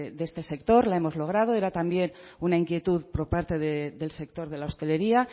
de este sector la hemos logrado era también una inquietud por parte del sector de la hostelería